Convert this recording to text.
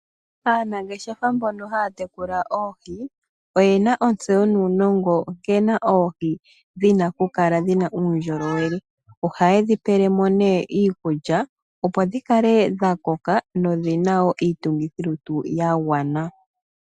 Aanangeshefa mbono haya tekula oohi, oyena ontseyo nuunongo nkene oohi dhina okukala dhina uundjolowele, oha ye dhipelemo nee iikulya, opo dhikale dhakoka nodhina woo iitungithilutu yagwana.